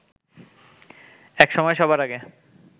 একসময় সবার আগে